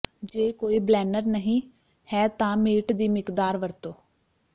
ਜੇ ਕੋਈ ਬਲੈਨਰ ਨਹੀਂ ਹੈ ਤਾਂ ਮੀਟ ਦੀ ਮਿਕਦਾਰ ਵਰਤੋ